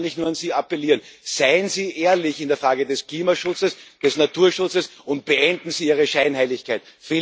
Und daher kann ich nur an Sie appellieren Seien Sie ehrlich in der Frage des Klimaschutzes, des Naturschutzes, und beenden Sie Ihre Scheinheiligkeit!